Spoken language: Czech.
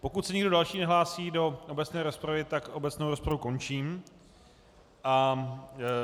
Pokud se nikdo další nehlásí do obecné rozpravy, tak obecnou rozpravu končím a